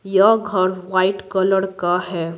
यह घर white colour का है।